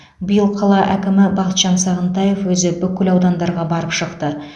биыл қала әкімі бақытжан сағынтаев өзі бүкіл аудандарға барып шықты